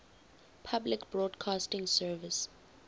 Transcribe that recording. public broadcasting service